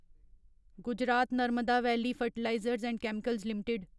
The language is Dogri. Gujarat Narmada valley fertilizers and chemicals limited